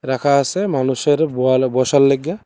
রাখা আছে মানুষের বোয়াল বসার লইগ্গা।